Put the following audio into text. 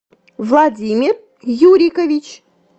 владимир юрикович